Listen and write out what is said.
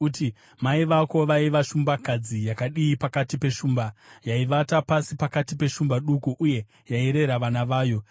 uti: “ ‘Mai vako vaiva shumbakadzi yakadii pakati peshumba! Yaivata pasi pakati peshumba duku uye yairera vana vayo.